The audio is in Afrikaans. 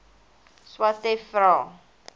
swathe vra